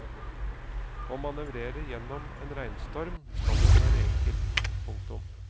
Å manøvrere gjennom en regnstorm skal ikke være enkelt. punktum